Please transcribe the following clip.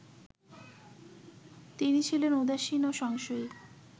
তিনি ছিলেন উদাসীন ও সংশয়ী